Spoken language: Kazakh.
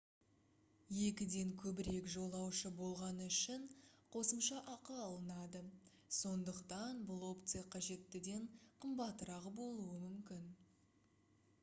2-ден көбірек жолаушы болғаны үшін қосымша ақы алынады сондықтан бұл опция қажеттіден қымбатырақ болуы мүмкін